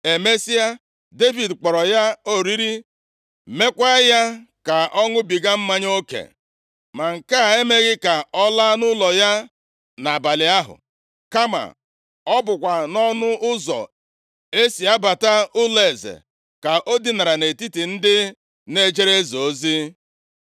Emesịa, Devid kpọrọ ya oriri, meekwa ya ka ọ ṅụbiga mmanya oke, ma nke a emeghị ka ọ laa nʼụlọ ya nʼabalị ahụ, kama ọ bụkwa nʼọnụ ụzọ e si abata ụlọeze ka o dinara nʼetiti ndị na-ejere eze ozi.